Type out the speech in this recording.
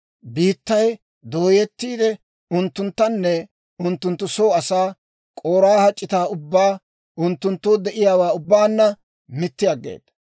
Biittay dooyettiide, unttunttanne unttunttu soo asaa, K'oraaha c'itaa ubbaa unttunttoo de'iyaawaa ubbaanna mitti aggeeda.